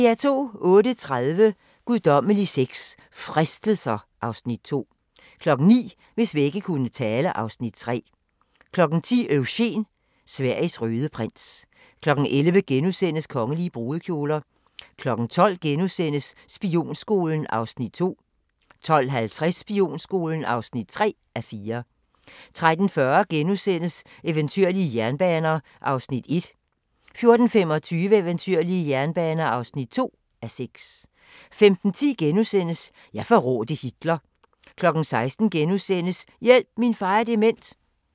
08:30: Guddommelig sex – Fristelser (Afs. 2) 09:00: Hvis vægge kunne tale (Afs. 3) 10:00: Eugen – Sveriges røde prins 11:00: Kongelige brudekjoler * 12:00: Spionskolen (2:4)* 12:50: Spionskolen (3:4) 13:40: Eventyrlige jernbaner (1:6)* 14:25: Eventyrlige jernbaner (2:6) 15:10: Jeg forrådte Hitler * 16:00: Hjælp – min far er dement! *